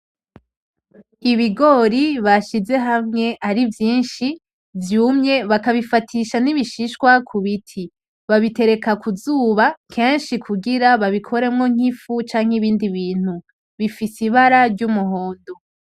Ibigori bashize hamwe ari vyinshi vyumye bakabifatisha n'ibishishwa kubiti babitereka kuzuba kenshi kugira babikoremwo ifu canke ibindi bintu, bifise ibara ry'umuhondo.